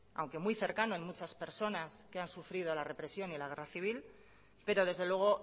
aunque muy cercano en muchas personas que han sufrido la represión y en la guerra civil pero desde luego